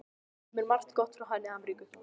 Það kemur margt gott frá henni Ameríku.